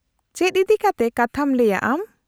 - ᱪᱮᱫ ᱤᱫᱤᱠᱟᱛᱮ ᱠᱟᱛᱷᱟᱢ ᱞᱟᱹᱭᱟ ᱟᱢ ?